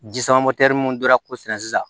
Ji sama minnu donna k'o sɛnɛ sisan